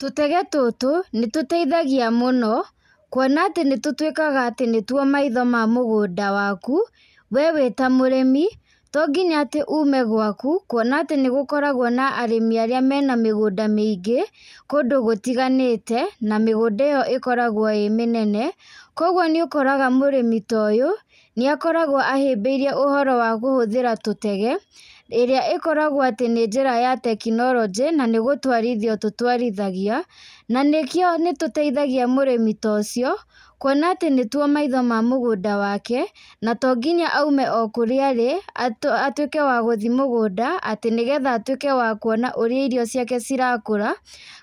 Tũtege tũtũ, nĩ tũteithagia mũno. Kuona atĩ nĩ tũtwĩkaga atĩ nĩtuo maitho ma mũgũnda waku, we wĩ ta mũrĩmi. Tonginya atĩ ume gwaku, kuona atĩ nĩgũkoragwo na arĩmi arĩa me na mĩgunda mĩingĩ kũndũ gũtiganĩte, na mĩgũnda ĩo ĩkoragwo ĩ mĩnene. Koguo nĩ ukoraga mũrĩmi ta ũyũ nĩakoragwo ahĩmbĩirie ũhoro wa gũhũthĩra tũtege. Ĩrĩa ĩkoragwo atĩ nĩ njĩra ya kũhũthĩra teknoronjĩ na gũtwarithio tũtwarithagia. Na nĩkĩo nĩtũteithagia mũrĩmi tocio, kuona atĩ nĩtuo maitho ma mũgũnda wake, na to nginya aume o kũrĩa arĩ atuĩke wa gũthi mũgũnda atĩ nĩ getha atuĩke wa kuona ũrĩa irio ciake cirakũra,